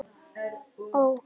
Ó